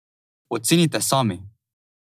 Ocenite sami!